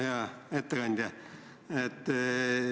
Hea ettekandja!